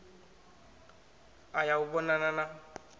u ya u vhonana na